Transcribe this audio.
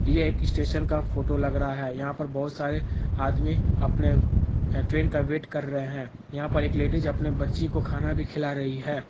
यह एक स्टेशन का फोटो लग रहा है यहाँ पर बहुत सारे आदमी अपने ट्रेन का वेट कर रहे हैं यहां पर एक लेडिज अपनी बच्ची को खाना भी खिला रही है।